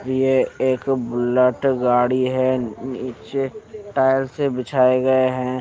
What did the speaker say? ये एक बुलेट गाड़ी है नीचे टायर से बिछाए गये है ।